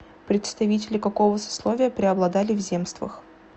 представители какого сословия преобладали в земствах